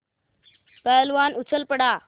पहलवान उछल पड़ा